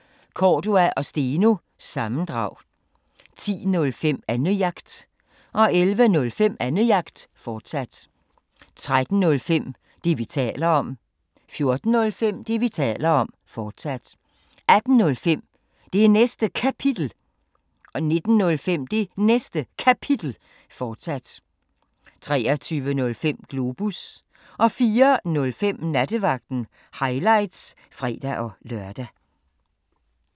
05:05: Cordua & Steno – sammendrag 10:05: Annejagt 11:05: Annejagt, fortsat 13:05: Det, vi taler om 14:05: Det, vi taler om, fortsat 18:05: Det Næste Kapitel 19:05: Det Næste Kapitel, fortsat 23:05: Globus 04:05: Nattevagten – highlights (fre-lør)